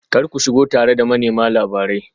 Kar ku shigo tare da manema labarai